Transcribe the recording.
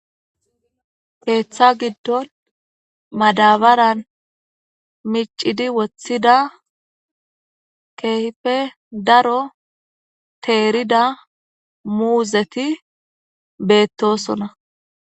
keeththa giddon madabaran micidi woththida keehife daro teerida muuzeti beettosona